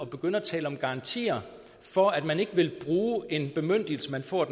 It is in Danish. begynde at tale om garantier for at man ikke vil bruge en bemyndigelse man får af